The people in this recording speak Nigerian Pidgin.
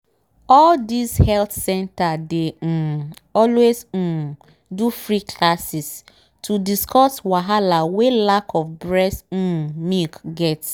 all these health center dey um always um do free classes to discuss wahala wen lack of breast um milk get